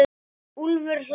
Úlfur hlær.